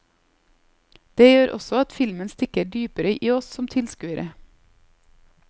Det gjør også at filmen stikker dypere i oss som tilskuere.